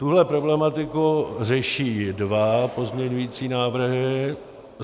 Tuhle problematiku řeší dva pozměňující návrhy.